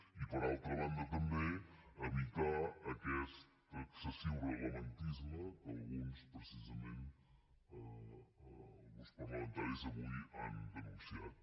i per altra banda també evitar aquest excessiu reglamentisme que alguns precisament alguns parlamentaris avui han denunciat